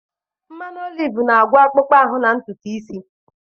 Mmanụ oliv na-agwọ akpụkpọ ahụ na ntutu isi.